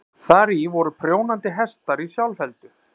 Þar í voru prjónandi hestar í sjálfheldu.